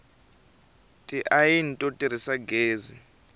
tiayini to tirhisa gezi